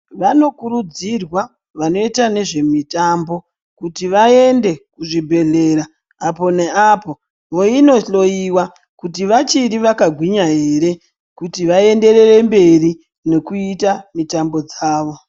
Vanokurudzirwa vanoita nezvemitambo ,kuti vaende kuzvibhedhlera, apo neapo voinohloiwa ,kuti vachiri vakagwinya ere ,kuti vaenderere mberi nokuita mitambo dzavo.